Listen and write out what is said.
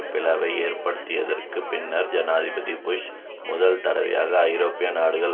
பிளவை ஏற்படுத்தியதற்குப் பின்னர் ஜனாதிபதி புஷ் முதல் தடவையாக ஐரோப்பிய நாடுகளின்